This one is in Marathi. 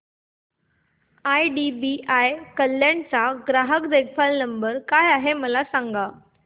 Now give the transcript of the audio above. आयडीबीआय कल्याण चा ग्राहक देखभाल नंबर काय आहे मला सांगा